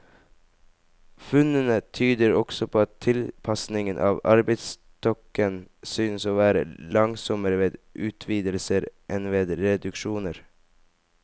Funnene tyder også på at tilpasningen av arbeidsstokken synes å være langsommere ved utvidelser enn ved reduksjoner.